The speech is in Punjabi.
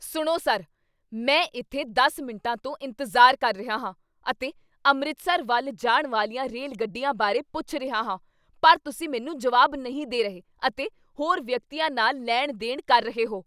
ਸੁਣੋ ਸਰ! ਮੈਂ ਇੱਥੇ ਦਸ ਮਿੰਟਾਂ ਤੋਂ ਇੰਤਜ਼ਾਰ ਕਰ ਰਿਹਾ ਹਾਂ ਅਤੇ ਅੰਮ੍ਰਿਤਸਰ ਵੱਲ ਜਾਣ ਵਾਲੀਆਂ ਰੇਲ ਗੱਡੀਆਂ ਬਾਰੇ ਪੁੱਛ ਰਿਹਾ ਹਾਂ ਪਰ ਤੁਸੀਂ ਮੈਨੂੰ ਜਵਾਬ ਨਹੀਂ ਦੇ ਰਹੇ ਅਤੇ ਹੋਰ ਵਿਅਕਤੀਆਂ ਨਾਲ ਲੈਣ ਦੇਣ ਕਰ ਰਹੇ ਹੋ